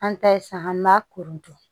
An ta ye sa an b'a koronto